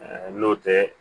N'o tɛ